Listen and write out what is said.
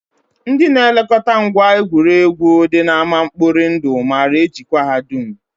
Ndị na-elekọta ngwa egwuregwu dị n'ámá mkpori ndụ maara ejikwa ha dum